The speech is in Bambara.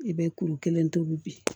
I bɛ kuru kelen tobi